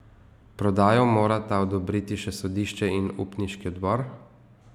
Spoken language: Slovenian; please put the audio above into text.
Prodajo morata odobriti še sodišče in upniški odbor.